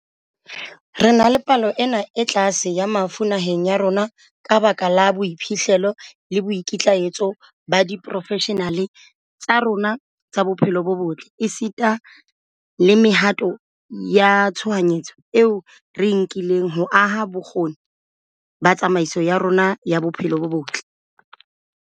Re na le palo ena e tlase ya mafu naheng ya rona ka lebaka la boiphihlelo le boikitlaetso ba diporofeshenale tsa rona tsa bophelo bo botle, esita le mehato ya tshohanyetso eo re e nkileng ho aha bokgoni ba tsamaiso ya rona ya bophelo bo botle.